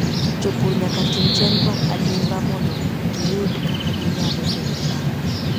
Jopur nyaka tim chenro adimba mondo giyud kaka ginyalo pidho cham.